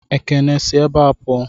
Ekene, si ebé a puo!